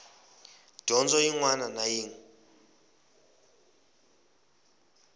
dyondzo yin wana na yin